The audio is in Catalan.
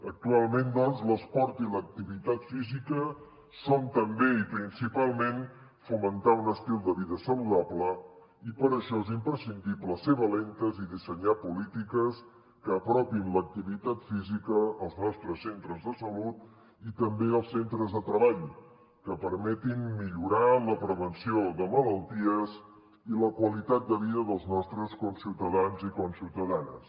actualment doncs l’esport i l’activitat física són també i principalment fomentar un estil de vida saludable i per a això és imprescindible ser valentes i dissenyar polítiques que apropin l’activitat física als nostres centres de salut i també als centres de treball que permetin millorar la prevenció de malalties i la qualitat de vida dels nostres conciutadans i ciutadanes